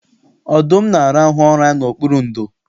Ọdụm na-arahụ ụra n'okpuru ndò